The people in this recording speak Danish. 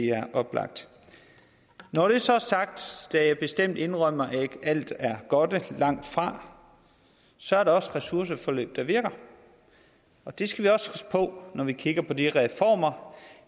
er oplagt når det så er sagt skal jeg bestemt indrømme at ikke alt er godt er det langtfra så er der også ressourceforløb der virker og det skal vi også huske på når vi kigger på de reformer